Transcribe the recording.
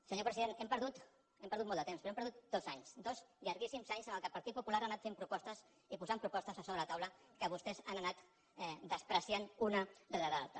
senyor president hem perdut molt de temps però hem perdut dos anys dos llarguíssims anys en què el partit popular ha anat fent propostes i posant propostes sobre la taula que vostès han anat menyspreant una rere l’altra